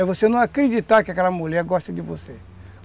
É você não acreditar que aquela mulher gosta de você.